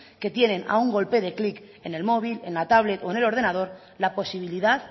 que tienen a un golpe de clic en el móvil en la tablet o en el ordenador la posibilidad